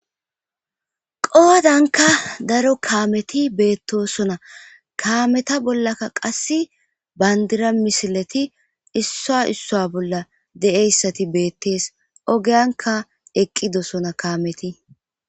qoodanka daro kaameti beettosona kaameta bollaka qass bandira misileti issa issa bolla de7eyssati beettees ogeyanka eqqidosona kaameti